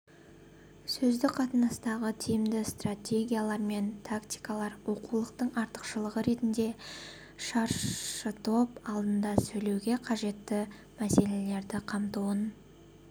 сөздік қатынастардағы тиімді стртегиялар мен тактикалар оқулықтың артықшылығы ретінде шаршытоп алдында сөйлеуге қажетті мәселелерді қамтуын